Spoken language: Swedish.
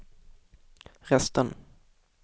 resten